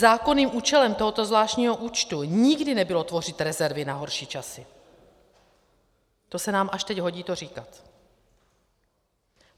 Zákonným účelem tohoto zvláštního účtu nikdy nebylo tvořit rezervy na horší časy, to se nám až teď hodí to říkat.